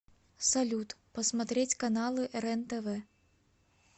салют посмотреть каналы рен тв